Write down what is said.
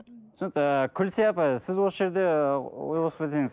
түсінікті күлсия апай сіз осы жерде ы ой қосып кетсеңіз